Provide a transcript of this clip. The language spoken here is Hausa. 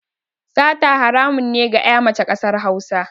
Sata haramun ne a ga ƴa mace ƙasar Hausa